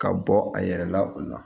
Ka bɔ a yɛrɛ la o la